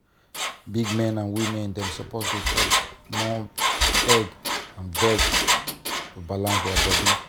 big men and women dem suppose dey chop more egg and veg to balance their body.